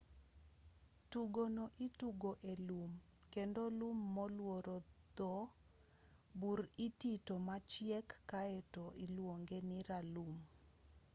tugono itugo e lum kendo lum molworo dho bur itito machiek kaeto iluonge ni ralum